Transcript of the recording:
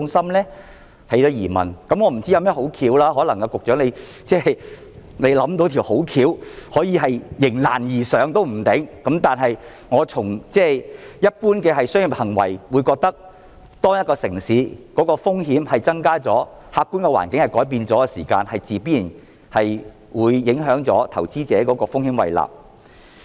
我不知道有甚麼好的方法，說不定局長可能也未想到有甚麼好的點子可以迎難而上，但從一般商業行為來評估，我認為當一個城市的風險增加了、客觀的環境改變了的時候，自然會影響到投資者的風險胃納。